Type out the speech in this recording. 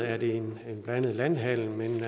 er det en blandet landhandel men